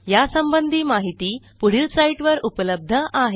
यासंबंधी माहिती पुढील साईटवर उपलब्ध आहे